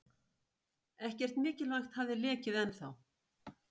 Ekkert mikilvægt hafði lekið ennþá.